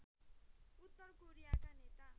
उत्तर कोरियाका नेता